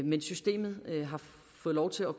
men systemet har fået lov til at